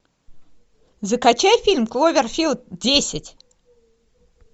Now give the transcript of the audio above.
закачай фильм кловерфилд десять